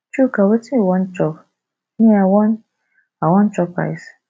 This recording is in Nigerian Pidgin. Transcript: chuka wetin you wan chop me i wan i wan chop rice